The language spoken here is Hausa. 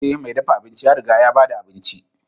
Ee, mai dafa abinci ya riga ya ba da abincin.